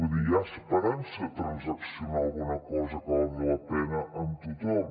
vull dir hi ha esperança de transaccionar alguna cosa que valgui la pena amb tothom